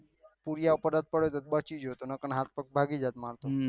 પૂર્યા પર પડો તો બચી ગયો નહી તો હાથ પગ ભાગી જાત માર તો